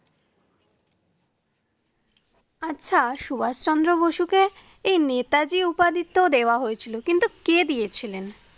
আচ্ছা সুভাষ চন্দ্র বসুকে এই নেতাজি উপাদিত্ব দেওয়া হয়েছিলো কিন্তু কে দিয়েছিলেন?